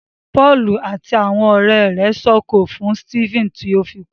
Pọọlù àti àwọn ọrẹ rẹ s'oko fún Stephen ti o fí kú.